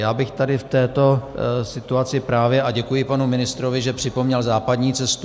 Já bych tady v této situaci právě - a děkuji panu ministrovi, že připomněl západní cestu.